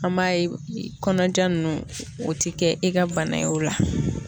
An m'a kɔnɔja nunnu o ti kɛ e ka bana ye o la